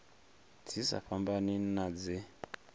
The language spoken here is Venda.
dzi sa fhambani na dze